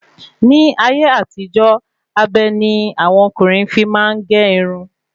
Ní ayé àtijó, abe ni àwọn ọkùnrin fi máa n ge irun